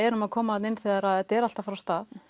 erum að koma þarna inn þegar þetta er allt að fara af stað